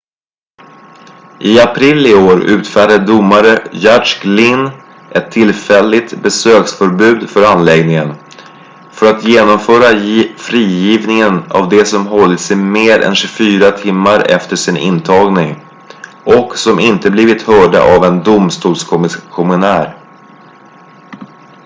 i april i år utfärdade domare judge glynn ett tillfälligt besöksförbud för anläggningen för att genomföra frigivningen av de som hållits i mer än 24 timmar efter sin intagning och som inte blivit hörda av en domstolskommissionär